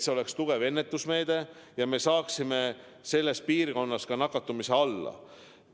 See on tugev ennetusmeede, et me saaksime selles piirkonnas nakatumise alla.